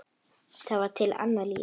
Það var til annað líf.